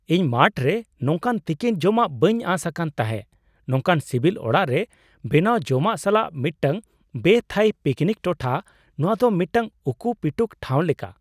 ᱤᱧ ᱢᱟᱴᱷ ᱨᱮ ᱱᱚᱝᱠᱟᱱ ᱛᱤᱠᱤᱱ ᱡᱚᱢᱟᱜ ᱵᱟᱹᱧ ᱟᱸᱥ ᱟᱠᱟᱱᱟ ᱛᱟᱦᱮᱸᱜ ᱱᱚᱝᱠᱟᱱ ᱥᱤᱵᱤᱞ ᱚᱲᱟᱜ ᱨᱮ ᱵᱮᱱᱟᱣ ᱡᱚᱢᱟᱜ ᱥᱟᱞᱟᱜ ᱢᱤᱫᱴᱟᱝ ᱵᱮᱼᱛᱷᱟᱭᱤ ᱯᱤᱠᱱᱤᱠ ᱴᱚᱴᱷᱟ! ᱱᱚᱶᱟ ᱫᱚ ᱢᱤᱫᱴᱟᱝ ᱩᱠᱩ ᱯᱤᱴᱩᱠ ᱴᱷᱟᱣ ᱞᱮᱠᱟ ᱾